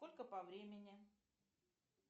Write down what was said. сколько по времени